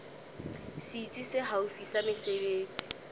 setsi se haufi sa mesebetsi